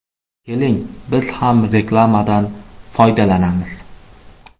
Keling, biz ham reklamadan foydalanamiz.